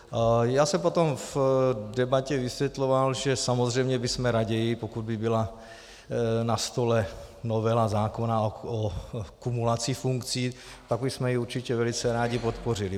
Já jsem potom v debatě vysvětloval, že samozřejmě bychom raději, pokud by byla na stole novela zákona o kumulacích funkcí, tak bychom ji určitě velice rádi podpořili.